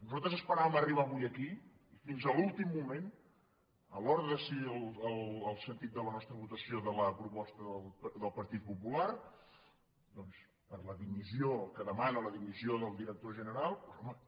nosaltres esperàvem arribar avui aquí i fins l’últim moment a l’hora de decidir el sentit de la nostra votació de la proposta del partit popular doncs per la dimissió que demana la dimissió del director general doncs home